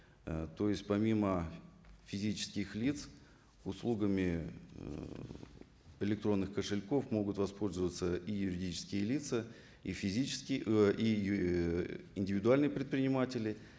ы то есть помимо физических лиц услугами ыыы электронных кошельков могут воспользоваться и юридические лица и физические индивидуальные предприниматели